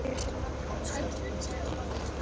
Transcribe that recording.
Ég hef séð mann hálshöggvinn, sagði Baldvin þá.